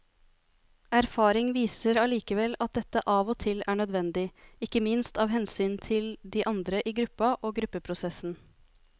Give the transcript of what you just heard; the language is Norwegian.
Erfaring viser allikevel at dette av og til er nødvendig, ikke minst av hensyn til de andre i gruppa og gruppeprosessen.